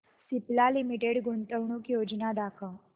Cipla limited गुंतवणूक योजना दाखव